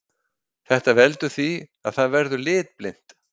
Þetta veldur því að það verður litblint.